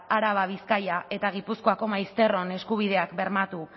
araba bizkaia eta gipuzkoako maizterron eskubideak bermatu